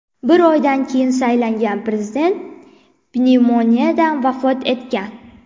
Bir oydan keyin saylangan prezident pnevmoniyadan vafot etgan.